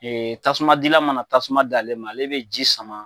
Ee tasuma di la mana tasuma dalen, ale bɛ ji sama.